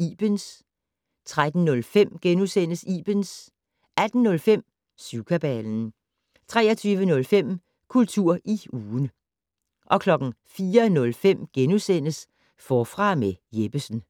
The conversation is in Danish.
Ibens * 13:05: Ibens * 18:05: Syvkabalen 23:05: Kultur i ugen 04:05: Forfra med Jeppesen *